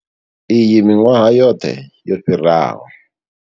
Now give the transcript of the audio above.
Iyi miṅwaha yoṱhe yo fhiraho.